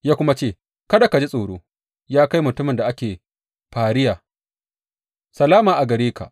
Ya kuma ce, Kada ka ji tsoro, ya kai mutumin da ake fahariya, salama a gare ka!